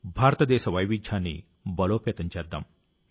భారతదేశ వైవిధ్యాన్ని బలోపేతం చేద్దాం